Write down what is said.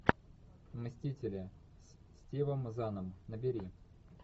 мстители с стивом заном набери